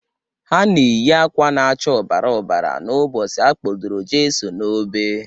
Ha na-eyị akwa na-acha ọbara ọbara n'ụbọchị Akpọdoro Jeso n'obe.